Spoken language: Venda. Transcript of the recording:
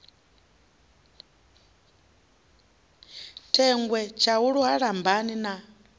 thengwe tshaulu ha lambani na